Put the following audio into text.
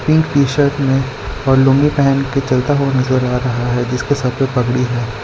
T shirt में और लुंगी पहन के चलता हुआ नजर आ रहा है जिसके सर पे पगड़ी है।